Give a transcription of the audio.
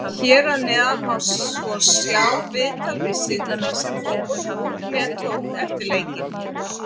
Hér að neðan má svo sjá viðtal við Sindra sem Fótbolti.net tók eftir leikinn.